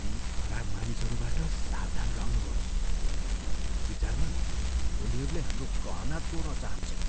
ती खराब मानिसहरूबाट सावधान रहनुहोस्। मेरो विचारमा उनीहरूले हाम्रो गहना चोर्न चाहन्छन्।